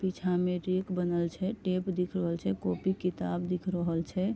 पीछा मे रेएक बनल छै टेप दिख रहल छै कॉपी किताब दिख रहल छै।